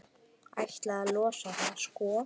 Ætlaði að losa það, sko.